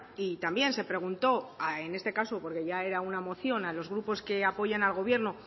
y también se preguntó en este caso porque ya era una moción a los grupos que apoyan al gobierno